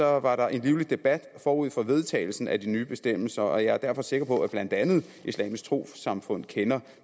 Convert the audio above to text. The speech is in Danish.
var der en livlig debat forud for vedtagelsen af de nye bestemmelser og jeg er derfor sikker på at blandt andet islamisk trossamfund kender